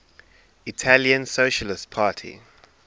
italian socialist party